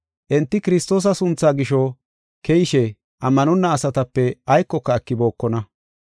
Enti Kiristoosa sunthaa gisho keyishe, ammanonna asatape aykoka ekibookona.